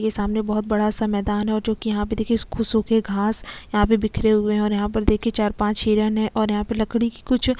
ये सामने बहुत बड़ा सा मैदान है और जो कि यहाँ पर देखिए ये खुसो के घास यहाँ पे बिखरे हुए हैं और यहाँ पे देखिए चार-पांच हिरण है और यहाँ पे लकड़ी की कुछ--